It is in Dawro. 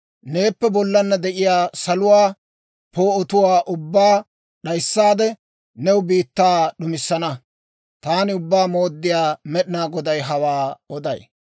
Neeppe bollaanna de'iyaa saluwaa poo'otuwaa ubbaa d'ayissaade, new biittaa d'umissana. Taani Ubbaa Mooddiyaa Med'inaa Goday hawaa oday.